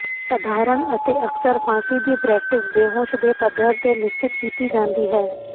ਸਧਾਰਣ ਅਤੇ ਅਕਸਰ ਫਾਂਸੀ ਦੀ ਪ੍ਰੈਕਟਿਸ ਬੇਹੋਸ਼ ਦੇ ਪੱਧਰ ਤੇ ਨਿਸ਼ਚਿਤ ਕੀਤੀ ਜਾਂਦੀ ਹੈ